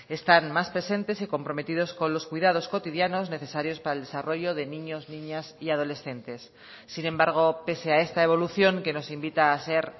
están más presentes y comprometidos con los cuidados cotidianos necesarios para el desarrollo de niños niñas y adolescentes sin embargo pese a esta evolución que nos invita a ser